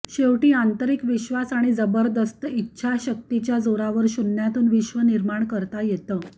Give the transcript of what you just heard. शेवटी आंतरिक विश्वास आणि जबरदस्त इच्छाशक्तीच्या जोरावर शून्यातून विश्व निर्माण करता येतं